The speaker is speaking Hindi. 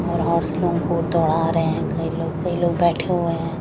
और हॉर्स लोन को दौड़ा रहे हैं कई लोग कई लोग बैठे हुए हैं।